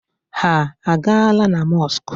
Ha a gaala na mọskụ?